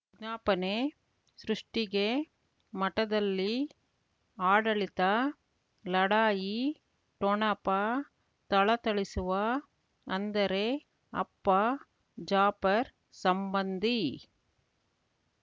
ವಿಜ್ಞಾಪನೆ ಸೃಷ್ಟಿಗೆ ಮಠದಲ್ಲಿ ಆಡಳಿತ ಲಢಾಯಿ ಠೊಣಪ ಥಳಥಳಿಸುವ ಅಂದರೆ ಅಪ್ಪ ಜಾಫರ್ ಸಂಬಂಧಿ